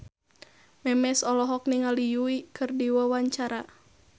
Memes olohok ningali Yui keur diwawancara